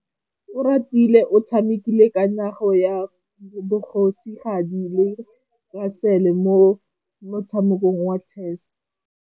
Oratile o tshamekile kananyô ya kgosigadi le khasêlê mo motshamekong wa chess.